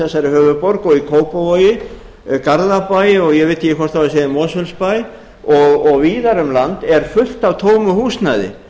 þessari höfuðborg og í kópavogi garðabæ og ég veit ekki hvort á segja í mosfellsbæ og víða um land er fullt af tómu húsnæði